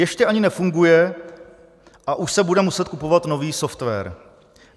Ještě ani nefunguje, a už se bude muset kupovat nový software.